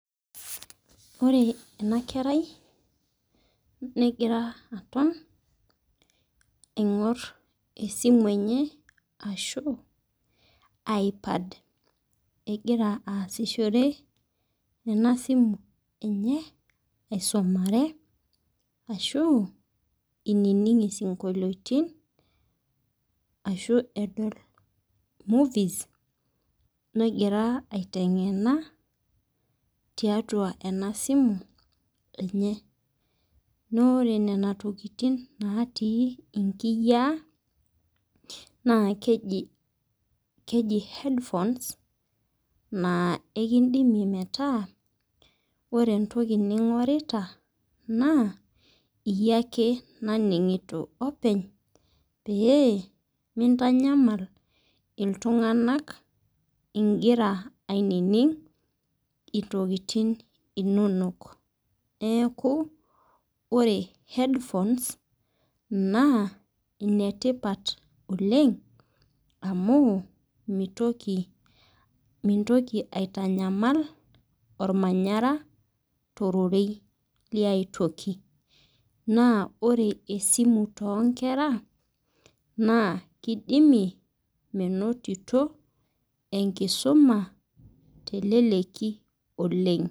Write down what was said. Ore ena kerai negira aton tenkop aing'or simu enye ashu iPad. Egira aasishore ena simu enye aisumare, arashu einining' isinkoliotin, ashu edol movies negira aiteng'ena tiatua ena simu enye. Naa ore nena tokitin naatii inkiyaa, naa keji headphones naa ekindimie metaa ore entoki ning'orrita naa iyie ake naning'ito openy, pee mintanyamal iltung'anak ingira ainining' intokitin inonok. Neaku ore headphones, naa ine tipat oleng' amu mintoki aitanyamal olmanyara tororei le ai toki. Naa ore esimu too inkera naa keidimie meinotito, enkisuma teleleki oleng'.